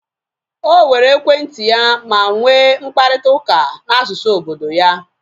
O were ekwentị ya ma nwee mkparịta ụka na asụsụ obodo ya